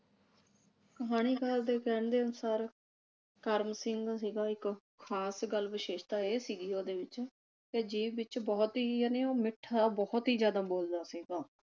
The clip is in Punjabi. ਕਹਾਣੀਕਾਰ ਦੇ ਕਹਿਣ ਦੇ ਅਨੁਸਾਰ ਕਰਮ ਸਿੰਘ ਸੀਗਾ ਇਕ ਖਾਸ ਗੱਲ ਵਿਸ਼ੇਸ਼ਤਾ ਇਹ ਸੀਗੀ ਉਹਦੇ ਵਿਚ ਤੇ ਜੀਭ ਵਿਚ ਬਹੁਤ ਹੀ ਜਾਨੇ ਉਹ ਮਿੱਠਾ ਬਹੁਤ ਹੀ ਜਿਆਦਾ ਬੋਲਦਾ ਸੀਗਾ।